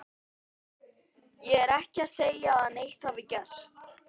Ég er ekki að segja að neitt hafi gerst.